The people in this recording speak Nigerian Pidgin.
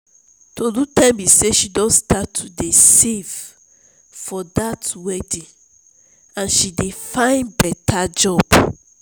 tolu tell me say she don start to dey save for dat wedding and she dey find better job